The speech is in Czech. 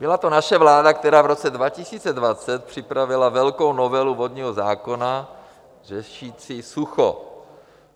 Byla to naše vláda, která v roce 2020 připravila velkou novelu vodního zákona řešící sucho.